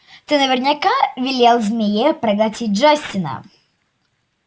ты наверняка велел змее проглотить джастина